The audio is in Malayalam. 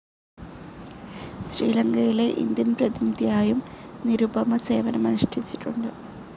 ശ്രീലങ്കയിലെ ഇന്ത്യൻ പ്രതിനിധിയായും നിരുപമ സേവനമനുഷ്ഠിച്ചിട്ടുണ്ട്.